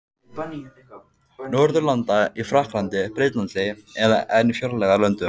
Norðurlanda: í Frakklandi, Bretlandi eða enn fjarlægari löndum.